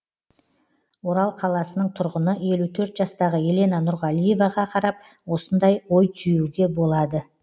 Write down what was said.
орал қаласының тұрғыны елу төрт жастағы елена нұрғалиеваға қарап осындай ой түюге болады